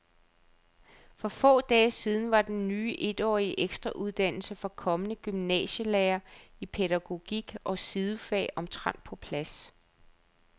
For få dage siden var den ny etårige ekstrauddannelse for kommende gymnasielærere i pædagogik og sidefag omtrent på plads.